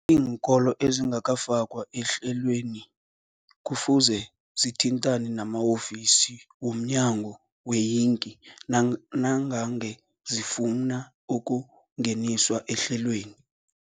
iinkolo ezingakafakwa ehlelweneli kufuze zithintane nama-ofisi wo mnyango weeyingi nang nangange zifuna ukungeniswa ehlelweni.